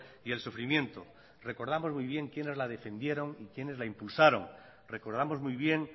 y el sufrimiento recordamos muy bien quiénes la defendieron y quiénes la impulsaron recordamos muy bien